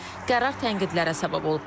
Qərar tənqidlərə səbəb olub.